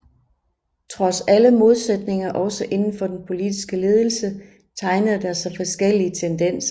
Trods alle modsætninger også inden for den politiske ledelse tegnede der sig forskellige tendenser